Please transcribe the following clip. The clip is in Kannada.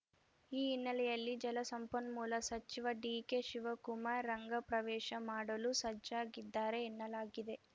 ಈ ಹಿನ್ನೆಲೆಯಲ್ಲಿ ಜಲಸಂಪನ್ಮೂಲ ಸಚಿವ ಡಿಕೆ ಶಿವಕುಮಾರ್ ರಂಗ ಪ್ರವೇಶ ಮಾಡಲು ಸಜ್ಜಾಗಿದ್ದಾರೆ ಎನ್ನಲಾಗಿದೆ